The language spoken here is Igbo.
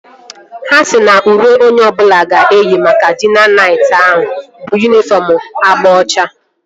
Ha sịrị na uwe onye ọbụla ga-eyi maka dina nayt ahụ bụ yunifọm agba ọcha